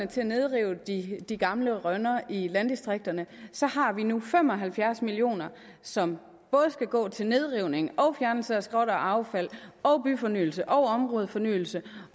til at nedrive de gamle rønner i landdistrikterne så har vi nu fem og halvfjerds million kr som både skal gå til nedrivning og fjernelse af skrot og affald og byfornyelse og områdefornyelse